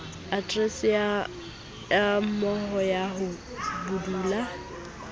aterese ya moaho ya bodulo